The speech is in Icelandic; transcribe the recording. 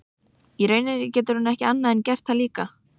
Í rauninni getur hún ekki annað en gert það líka.